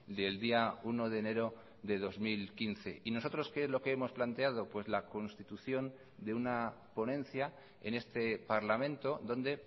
del día uno de enero de dos mil quince y nosotros qué es lo que hemos planteado la constitución de una ponencia en este parlamento donde